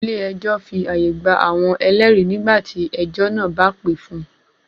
Ilé ẹjọ́ fi àyè gba àwọn ẹlẹ́rìí nígbà tí ẹjọ́ náà bá pè fún-un.